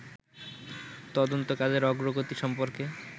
তদন্ত কাজের অগ্রগতি সম্পর্কে